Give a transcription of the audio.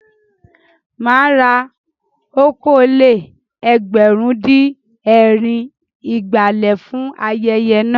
Mà á ra okòó-lé-ẹgbẹ̀rún-dín-ẹ̀rin ìgbálẹ̀ fún ayẹyẹ náà.